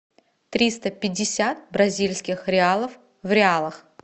триста пятьдесят бразильских реалов в реалах